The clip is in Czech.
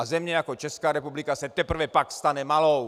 A země jako Česká republika se teprve pak stane malou.